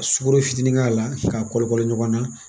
Ka sukoro fitinin k'a la k'a kɔlikɔlo ɲɔgɔn na